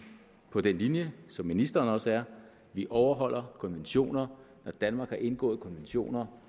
på den linje som ministeren også er vi overholder konventioner når danmark har indgået konventioner